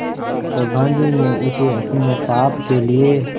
तो गांधी ने इसे अपने पाप के लिए